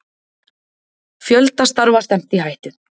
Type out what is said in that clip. Fjölda starfa stefnt í hættu